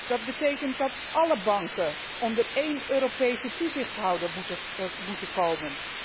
Dat betekent dat alle banken onder één Europese toezichthouder moeten komen.